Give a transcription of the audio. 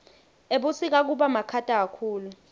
ebusika kubamakhata kakhulu